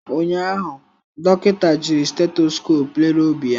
Ụnyaahụ, dọkịta jiri stethoscope lere obi ya.